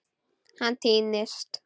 Hann týnist.